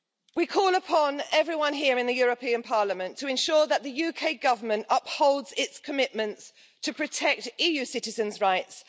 We call upon everyone here in the European Parliament to ensure that the UK Government upholds its commitments to protect EU citizens' rights.